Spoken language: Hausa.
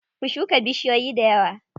Ku shuka bushiyoyi dayawa.